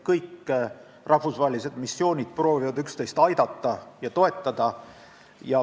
Kõik rahvusvahelised missioonid proovivad üksteist aidata ja toetada.